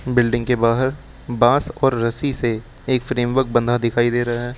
Building के बाहर बांस और रस्सी से एक फ्रेमवर्क बना दिखाई दे रहा है।